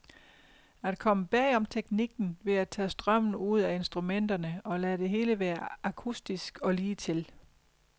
At komme bag om teknikken ved at tage strømmen ud af instrumenterne og lade det hele være akustisk og ligetil.